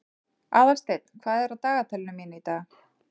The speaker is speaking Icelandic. Aðalsteinn, hvað er á dagatalinu mínu í dag?